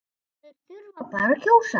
Þeir þurfa bara að kjósa